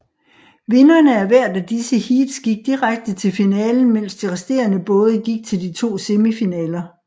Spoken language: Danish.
Vinderne af hvert af disse heats gik direkte til finalen mens de resterende både gik til de to semifinaler